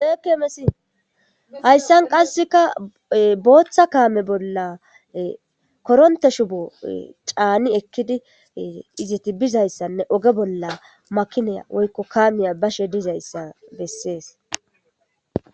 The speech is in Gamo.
ekeemesi hayssan qasseka booththa kaame bolla koronte shubo caani ekkidi izeti bizayssanne oge bolla makinaya woykko kaamiya bashe dizayssa bessees